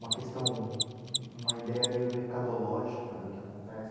Uma questão, uma ideia meio mercadológica do que acontece?